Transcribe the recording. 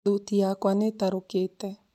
Thuti yakwa nĩ ĩtarukĩte